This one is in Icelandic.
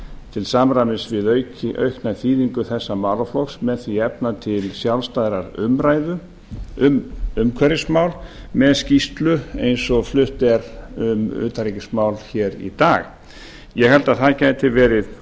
til samræmis við aukna þýðingu þessa málaflokks með því að efna til sjálfstæðrar umræðu um umhverfismál með skýrslu eins og flutt er um utanríkismál í dag ég held að það gæti verið